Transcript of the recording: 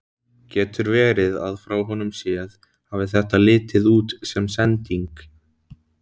Getur verið að frá honum séð hafi þetta litið út sem sending?